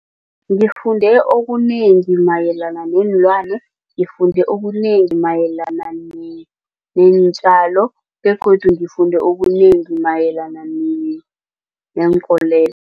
Ngifunde okunengi mayelana neenlwana. Ngifunde okunengi mayelana neentjalo begodu ngifunde okunengi mayelana